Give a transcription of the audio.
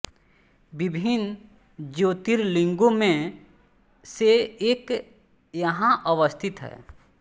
विभिन्न ज्योतिर्लिंगों में से एक यहां अवस्थित है